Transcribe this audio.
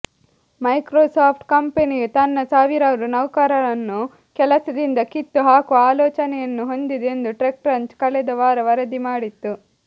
Microsoft ಕಂಪನಿಯು ತನ್ನ ಸಾವಿರಾರು ನೌಕರರನ್ನು ಕೆಲಸದಿಂದ ಕಿತ್ತುಹಾಕುವ ಆಲೋಚನೆಯನ್ನು ಹೊಂದಿದೆ ಎಂದು ಟೆಕ್ಕ್ರಂಚ್ ಕಳೆದ ವಾರ ವರದಿ ಮಾಡಿತ್ತು